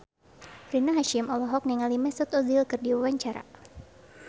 Rina Hasyim olohok ningali Mesut Ozil keur diwawancara